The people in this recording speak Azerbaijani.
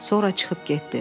Sonra çıxıb getdi.